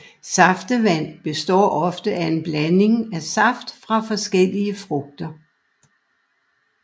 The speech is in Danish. Saftevand består ofte af en blanding af saft fra forskellige frugter